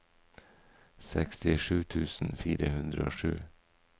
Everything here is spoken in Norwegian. sekstisju tusen fire hundre og sju